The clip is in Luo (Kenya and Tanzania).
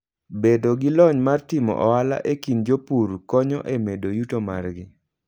Bedo gi lony mar timo ohala e kind jopur konyo e medo yuto margi.